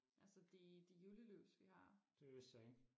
altså de de julelys vi har